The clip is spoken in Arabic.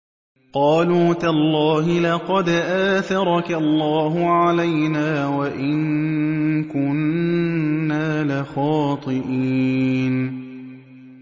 قَالُوا تَاللَّهِ لَقَدْ آثَرَكَ اللَّهُ عَلَيْنَا وَإِن كُنَّا لَخَاطِئِينَ